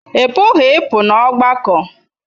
Ị pụghị ịpụ n'ọgbakọ.